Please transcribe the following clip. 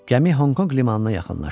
Gəmi Honkonq limanına yaxınlaşdı.